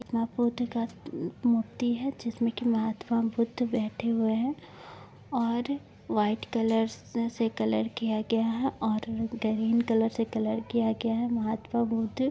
बुद्ध का उम्म मूर्ति हेय जिसमे की महात्मा बुद्ध बैठे हुए हैं और व्हाइट कलर स से कलर किया गया है और ग्रीन कलर से कलर किया गया है महात्मा बुद्ध --